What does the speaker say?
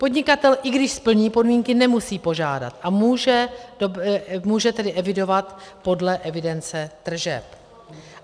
Podnikatel, i když splní podmínky, nemusí požádat, a může tedy evidovat podle evidence tržeb.